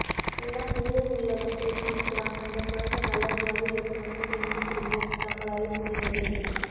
எல்லாம் மேலே உள்ளவன் தீர்மானிக்கிறான் அந்தக் குழந்தை நல்லபடியாக இருக்கணும்னு வேண்டிக்கிருவோம் நம்மளால் முடிந்தது